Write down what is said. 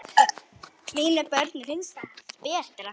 Mínum börnum finnst það betra.